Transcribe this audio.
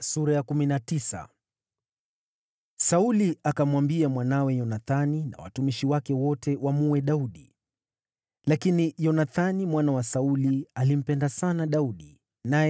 Sauli akamwambia mwanawe Yonathani na watumishi wake wote wamuue Daudi. Lakini Yonathani mwana wa Sauli alimpenda sana Daudi.